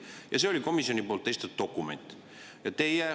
Ja see oli komisjoni esitatud dokument.